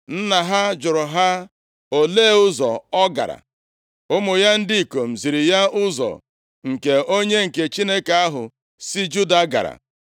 Nna ha jụrụ ha, “Olee ụzọ ọ gara?” Ụmụ ya ndị ikom ziri ya ụzọ nke onye nke Chineke ahụ si Juda gara.